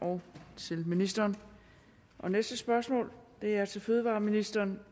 og til ministeren næste spørgsmål er til fødevareministeren